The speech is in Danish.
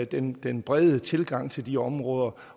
den den brede tilgang til de områder